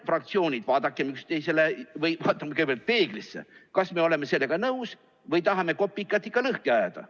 Fraktsioonid, vaatame kõigepealt peeglisse, kas me oleme sellega nõus või tahame juuksekarva ikka lõhki ajada.